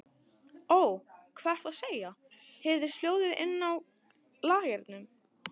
Ó, hvað ertu að segja, heyrðist hljóðað inni á lagernum.